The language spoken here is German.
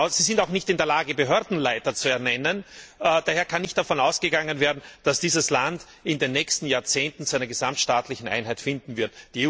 Sie sind auch nicht in der Lage, Behördenleiter zu ernennen, und daher kann auch nicht davon ausgegangen werden, dass dieses Land in den nächsten Jahrzehnten zu einer gesamtstaatlichen Einheit finden wird.